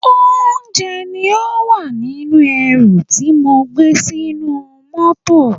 Oúnjẹ ní ó wà nínú ẹrù tí mo gbé sínú mọ́tọ̀.